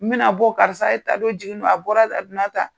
Mina bɔ karisa ye ta o jiginni na a bɔra a donnatan